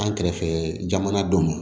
An kɛrɛfɛ jamana dɔ ma